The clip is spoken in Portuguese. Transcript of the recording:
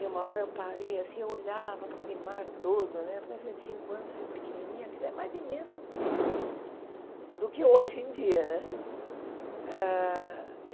E uma hora eu parei assim, eu olhava para aquele mar todo né, na época eu tinha cinco anos, pequenininha, aquilo é mais imenso do que do que hoje em dia né. ah e